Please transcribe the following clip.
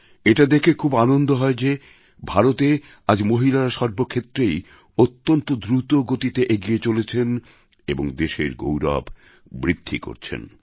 এটা দেখে খুব আনন্দ হয় যে ভারতে আজ মহিলারা সর্বক্ষেত্রেই অত্যন্ত দ্রুত গতিতে এগিয়ে চলেছেন এবং দেশের গৌরব বৃদ্ধি করছেন